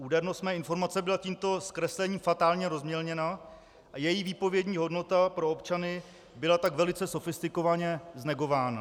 Údernost mé informace byla tímto zkreslením fatálně rozmělněna a její výpovědní hodnota pro občany byla tak velice sofistikovaně znegována.